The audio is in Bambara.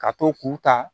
Ka to k'u ta